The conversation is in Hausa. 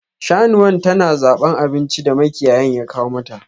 Shanuwan ta na zaban abinci da makiyayin ya kawo mata.